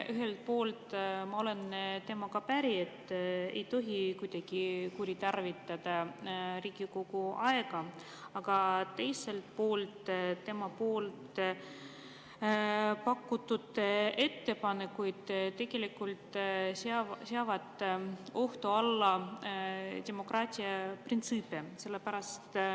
Ühelt poolt ma olen temaga päri, et ei tohi kuidagi kuritarvitada Riigikogu aega, aga teisel poolt tema pakutud ettepanekud tegelikult seavad ohtu demokraatlikke printsiipe.